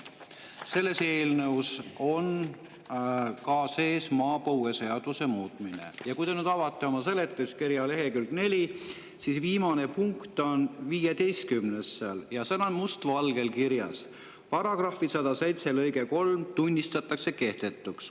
Selles eelnõus on sees ka maapõueseaduse muutmine ja kui te nüüd avate lehekülje 4, siis seal on viimane, punkt 15, milles on must valgel kirjas: "paragrahvi 107 lõige 3 tunnistatakse kehtetuks".